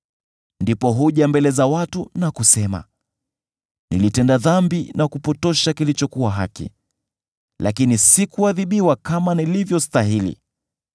Ndipo huja mbele za watu na kusema, ‘Nilitenda dhambi na kupotosha kilichokuwa haki, lakini sikuadhibiwa kama nilivyostahili.